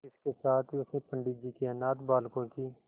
इसके साथ ही उसने पंडित जी के अनाथ बालकों की